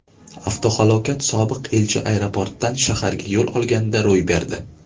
Avtohalokat sobiq elchi aeroportdan shaharga yo‘l olganida ro‘y berdi.